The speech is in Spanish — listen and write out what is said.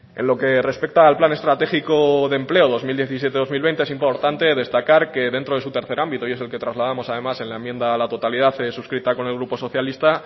en lo que respecta al plan estratégico de empleo dos mil diecisiete dos mil veinte es importante destacar que dentro de su tercer ámbito y es el que trasladamos además en la enmienda a la totalidad suscrita con el grupo socialista